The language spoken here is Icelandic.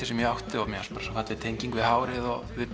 sem ég átti mér fannst það falleg tenging við hárið og